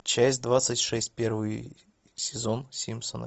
часть двадцать шесть первый сезон симпсоны